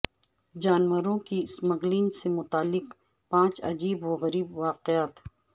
جانوروں کی سمگلنگ سے متعلق پانچ عجیب و غریب واقعات